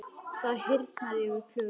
Það hýrnar yfir Klöru.